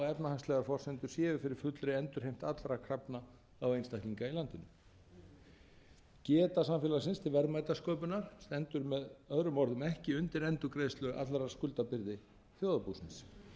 efnahagslegar forsendur séu fyrir fullri endurheimt allra krafna á einstaklinga í landinu geta samfélagsins til verðmætasköpunar stendur með öðrum orðum ekki undir endurgreiðslu allrar skuldabyrði þjóðarbúsins láns og kaupleigusamningar sem